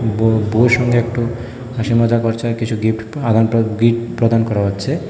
বউ বউয়ের সঙ্গে একটু হাসি মজা করছে আর কিছু গিফট আদনপ্রদ গিফট প্রদান করা হচ্ছে।